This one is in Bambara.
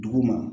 Dugu ma